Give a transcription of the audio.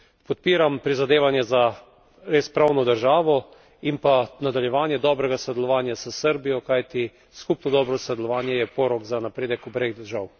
Podpiram prizadevanja za res pravno državo in pa nadaljevanje dobrega sodelovanja s Srbijo, kajti skupno dobro sodelovanje je porok za napredek obeh držav.